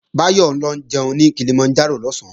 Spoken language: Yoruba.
Báyọ̀ ń lọ jẹun ní Kilimanjaro lọ̀sán